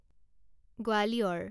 Gwalior